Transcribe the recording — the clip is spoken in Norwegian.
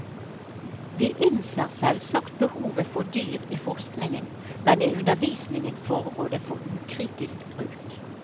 Vi innser selvsagt behovet for dyr i forskningen, men i undervisningen foregår det for ukritisk bruk.